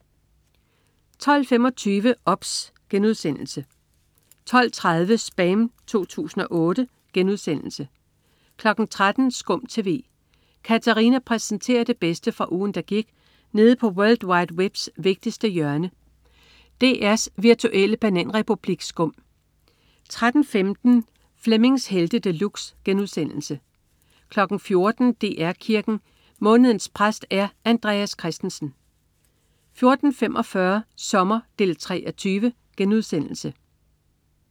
12.25 OBS* 12.30 SPAM 2008* 13.00 SKUM TV. Katarina præsenterer det bedste fra ugen, der gik nede på world wide webs vigtigste hjørne, DR's virtuelle bananrepublik SKUM 13.15 Flemmings Helte De Luxe* 14.00 DR Kirken. Månedens præst er Andreas Christensen 14.45 Sommer 3:20*